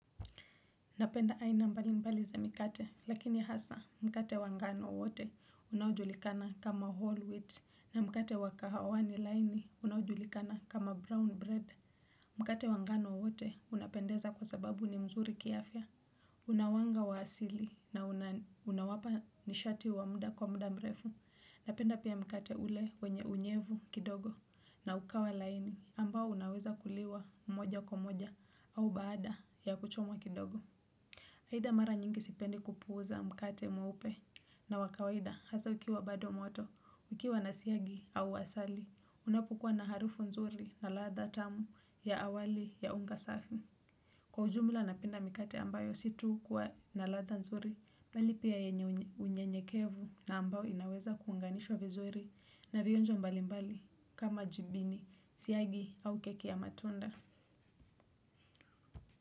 Napenda aina mbalimbali za mikate lakini hasa mkate wa ngano wote unaojulikana kama whole wheat na mkate wa kahawani laini unaojulikana kama brown bread. Mkate wa ngano wote unapendeza kwa sababu ni mzuri kiafya. Una wanga wa asili na unawapa nishati wa mda kwa mda mrefu. Napenda pia mkate ule wenye unyevu kidogo na ukawa laini ambao unaweza kuliwa mmoja kwa moja au baada ya kuchomwa kidogo. Haidha mara nyingi sipendi kupuuza mkate mweupe na wa kawaida hasa ukiwa bado moto, ukiwa na siagi au asali, unapokua na harufu nzuri na latha tamu ya awali ya unga safi. Kwa ujumla napenda mikate ambayo si tu kuwa na latha nzuri, mbali pia yenye unyenyekevu na ambao inaweza kuunganishwa vizuri na vionjo mbalimbali kama jibini, siagi au keki ya matunda.